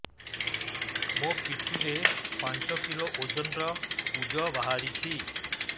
ମୋ ପିଠି ରେ ପାଞ୍ଚ କିଲୋ ଓଜନ ର କୁଜ ବାହାରିଛି